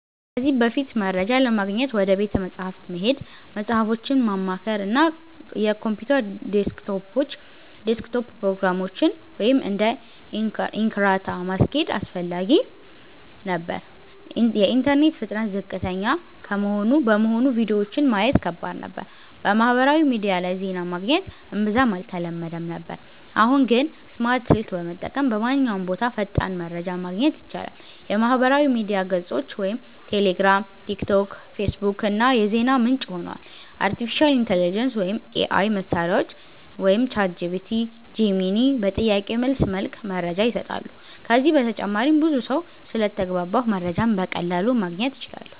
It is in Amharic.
ከዚህ በፊት፦ መረጃ ለማግኘት ወደ ቤተ መጻሕፍት መሄድ፣ መጽሃፎችን ማማከር፣ እና የኮምፒውተር ዴስክቶፕ ፕሮግራሞችን (እንደ Encarta) ማስኬድ አስፈላጊ ነበር። የኢንተርኔት ፍጥነት ዝቅተኛ በመሆኑ ቪዲዮዎችን ማየት ከባድ ነበር። በማህበራዊ ሚዲያ ላይ ዜና ማግኘት እምብዛም አልተለመደም ነበር። አሁን ግን፦ ስማርት ስልክ በመጠቀም በማንኛውም ቦታ ፈጣን መረጃ ማግኘት ይቻላል። የማህበራዊ ሚዲያ ገጾች (ቴሌግራም፣ ቲክቶክ፣ ፌስቡክ) ዋና የዜና ምንጭ ሆነዋል። አርቲፊሻል ኢንተሊጀንስ (AI) መሳሪያዎች (ChatGPT, Gemini) በጥያቄ መልስ መልክ መረጃ ይሰጣሉ። ከዚህ በተጨማሪም ብዙ ሰው ስለተግባባሁ መረጃን በቀላሉ ማግኘት እችላለሁ